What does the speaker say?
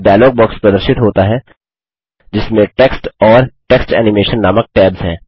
एक dialog box प्रदर्शित होता है जिसमें टेक्स्ट और टेक्स्ट एनिमेशन नामक टैब्स हैं